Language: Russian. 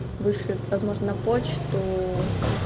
вышлет возможно на почту